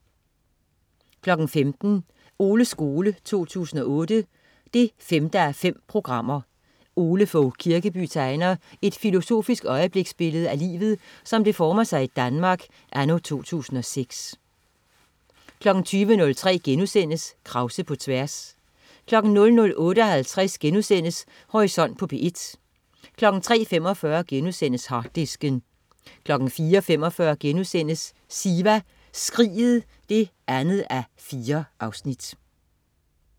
15.00 Oles skole 2008 5:5. Ole Fogh Kirkeby tegner et filosofisk øjebliksbillede af livet, som det former sig i Danmark anno 2006 20.03 Krause på tværs* 00.58 Horisont på P1* 03.45 Harddisken* 04.45 Siva Skriget 2:4*